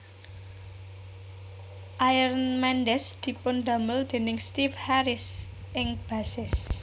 Iron Meiden dipundamel déning Steve Harris ing bassist